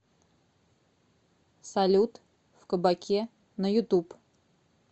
салют в кабаке на ютуб